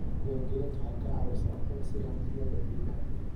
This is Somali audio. Diiwaangelintu waxay ka caawisaa aqoonsiga hantida dadweynaha.